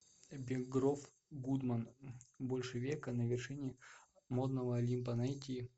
бергдорф гудман больше века на вершине модного олимпа найти